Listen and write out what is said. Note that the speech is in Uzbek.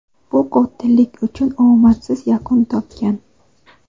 bu qotillar uchun omadsiz yakun topgan.